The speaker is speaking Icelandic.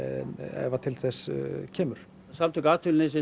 ef að til þess kemur samtök atvinnulífsins